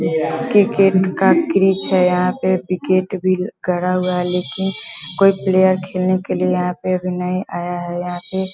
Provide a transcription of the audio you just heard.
Cricket का crease है यहाँ पे विकेट भी गड़ा हुआ है लेकिन कोई प्लेयर खेलने के लिए यहाँ पे अभी नहीं आया है यहाँ पे ।